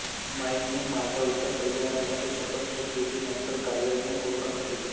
माईंनी माधवच्या कल्याणासाठी शपथ घेतली जी नंतर कावेरीने पूर्ण भरली